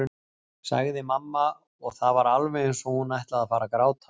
sagði mamma og það var alveg eins og hún ætlaði að fara að gráta.